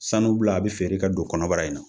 Sanu bula a be feere ka don kɔnɔbara in na.